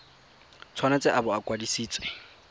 tshwanetse a bo a kwadisitswe